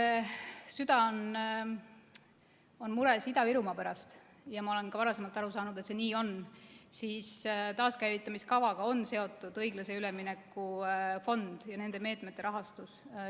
Kui te süda on mures Ida-Virumaa pärast – ja ma olen ka varem aru saanud, et see nii on –, siis taaskäivitamiskavaga on seotud õiglase ülemineku fond ja nende meetmete rahastus.